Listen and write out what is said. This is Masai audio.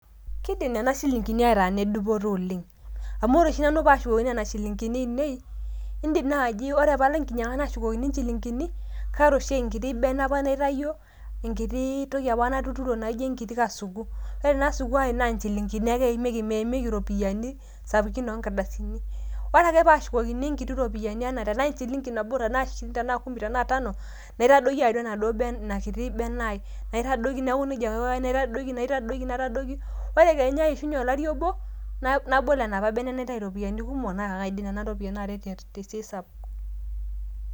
Kidim nena shilingini ataa nne dupoto oleng ,amu ore oshi nanu paashukokini nena shilingini ainei ,indim naji ore palo enkinyanga nashukokini inchilingini ,kaata oshi enkiti bene apa naitayio ,enkiti toki apa natuturo naijo enkiti asuku ,ore ina aasuku ai naa inchilingini ake eimieki mmeikieki iropiyiani sapukin oonkardasini .ore ake paashukoni enkiti ropiyiani tenaa enchilingi nabo tenaa ,tenaa shirini ,tenaa tano naitadoiki enaduo ina kiti bene ai naitadoiki neaku nejia ake aiko ,naitadoiki naitadoiki naitadoiki ore kenya eishunye olari obo nabol ena apa bene naitai iropiyiani kumok naa kaaret nena ropiyiani tesiaai sapuk.